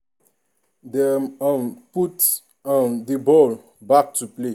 dem um put um di ball back to play.